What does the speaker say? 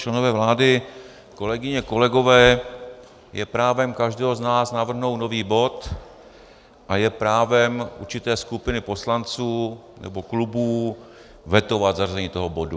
Členové vlády, kolegyně, kolegové, je právem každého z nás navrhnout nový bod a je právem určité skupiny poslanců nebo klubů vetovat zařazení toho bodu.